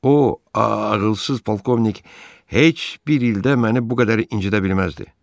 O ağılsız polkovnik heç bir ildə məni bu qədər incidə bilməzdi.